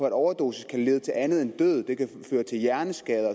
en overdosis kan lede til andet end døden det kan føre til en hjerneskade